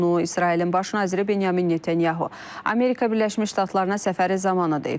Bunu İsrailin baş naziri Benyamin Netanyahu Amerika Birləşmiş Ştatlarına səfəri zamanı deyib.